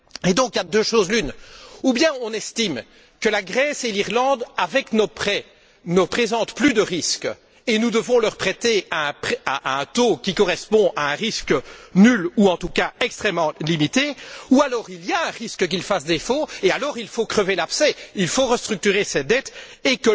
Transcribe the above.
Et donc, de deux choses l'une ou bien on estime que la Grèce et l'Irlande, avec nos prêts, ne présentent plus de risques et nous devons leur prêter à un taux qui correspond à un risque nul ou en tout cas extrêmement limité ou alors il y a un risque qu'ils fassent défaut et alors, il faut crever l'abcès, il faut restructurer ces dettes et